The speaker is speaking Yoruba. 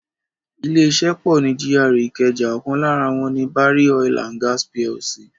Ilé iṣẹ́ pọ ni GRA ìkẹjà, ọkan lára wọ́n ni Barry Oil and Gas Plc.